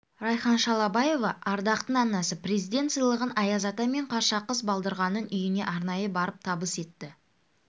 райхан шалабаева ардақтың анасы президент сыйлығын аяз ата мен қаршақыз балдырғанның үйіне арнайы барып табыс етті